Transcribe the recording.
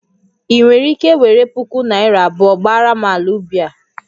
Ị nwere ike were puku naira abụọ gbaara m ala ubi a?